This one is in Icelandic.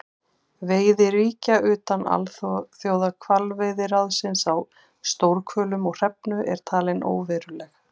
Veiði ríkja utan Alþjóðahvalveiðiráðsins á stórhvölum og hrefnu er talin óveruleg.